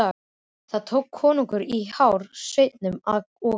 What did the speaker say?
Þá tók konungur í hár sveininum og kippti.